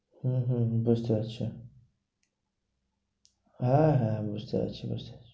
হম হম হম বৃষ্টি হবে হ্যাঁ হ্যাঁ বুঝতে পারছি, বুঝতে পারছি।